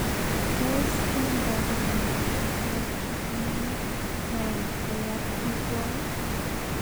Tos kinamdage miondap mosaic trisomy 9 koyop pikwok ii?